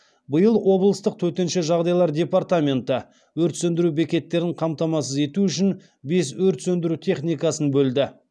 биыл облыстық төтенше жағдайлар департаменті өрт сөндіру бекеттерін қамтамасыз ету үшін бес өрт сөндіру техникасын бөлді